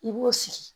I b'o sigi